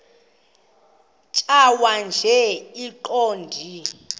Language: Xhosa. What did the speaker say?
tjhaya nje iqondee